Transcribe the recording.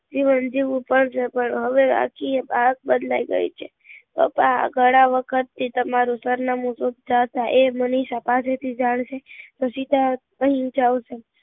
જીવન જીવવું પણ પણ હવે આખી આવક બદલાઈ ગઈ છે પપ્પા આ ગણા વખત થી તમારું સરનામું શોધતા હતા એ મનીષા પાસે થી જાણશે તો એ સીધા અહી જ આવશે